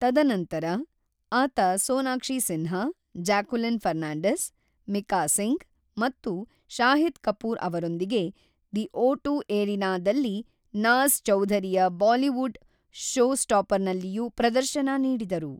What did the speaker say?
ತದನಂತರ, ಆತ ಸೋನಾಕ್ಷಿ ಸಿನ್ಹಾ, ಜಾಕ್ವೆಲಿನ್ ಫರ್ನಾಂಡೀಸ್, ಮೀಕಾ ಸಿಂಗ್ ಮತ್ತು ಶಾಹಿದ್ ಕಪೂರ್ ಅವರೊಂದಿಗೆ ದಿ ಓಟು ಎರೀನಾದಲ್ಲಿ ನಾಜ಼್ ಚೌಧರಿಯ ಬಾಲಿವುಡ್ ಷೋಸ್ಟಾಪರ್ಸ್‌ನಲ್ಲಿಯೂ ಪ್ರದರ್ಶನ ನೀಡಿದರು.